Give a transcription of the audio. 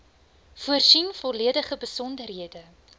voorsien volledige besonderhede